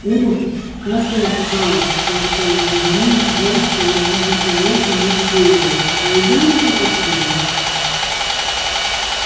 ох как я устал сладко зевнул джордж положив на тарелку нож с вилкой пойду-ка посплю